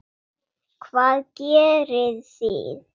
Hvað gerið þið?